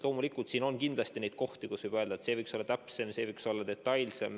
Loomulikult, kindlasti on kohti, mille kohta võib öelda, et reeglistik võiks olla täpsem, võiks olla detailsem.